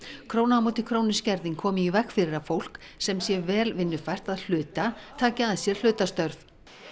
króna á móti krónu skerðing komi í veg fyrir að fólk sem sé vel vinnufært að hluta taki að sér hlutastörf